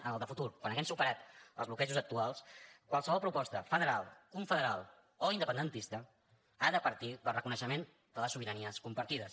en el de futur quan haguem superat els bloquejos actuals qualsevol proposta federal confederal o independentista ha de partir del reconeixement de les sobiranies compartides